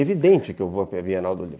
Evidente que eu vou à Bienal do Livro.